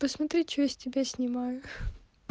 посмотри что я с тебя снимаю